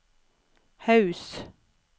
Haus